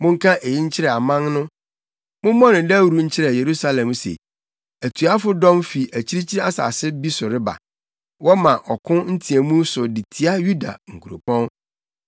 “Monka eyi nkyerɛ aman no, mommɔ no dawuru nkyerɛ Yerusalem se, ‘Atuafo dɔm fi akyirikyiri asase bi so reba, wɔma ɔko nteɛmu so de tia Yuda nkuropɔn.